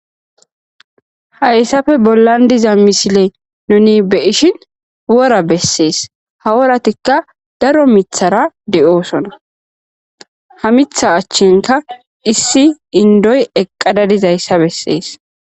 hayssafe bollan diza misile nuni be ishin wora bessees haworatikka daro mithara de7oosona ha mitha achchinka issi indoy eqqada dizayssa bessees